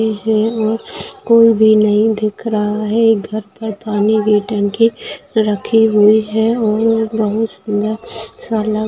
इस घर में कोई भी नही दिख रहा है घर पर पानी की टंकी रखी हुई है और बहुत सुंदर सा लग--